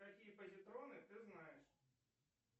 какие позитроны ты знаешь